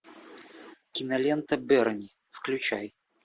кинолента берни включай